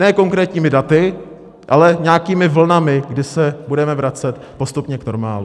Ne konkrétními daty, ale nějakými vlnami, kdy se budeme vracet postupně k normálu.